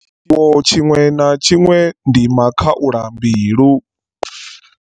Tshiwo tshiṅwe na tshiṅwe ndi makhaulambilu.